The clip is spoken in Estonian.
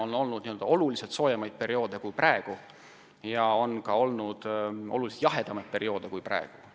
On olnud oluliselt soojemaid perioode kui praegu ja on olnud ka oluliselt jahedamaid perioode kui praegu.